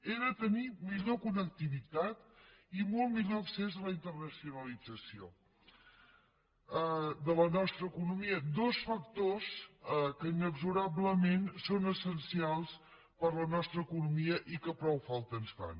era tenir millor connectivitat i molt millor accés a la internacionalització de la nostra economia dos factors que inexorablement són essencials per a la nostra economia i que prou falta ens fan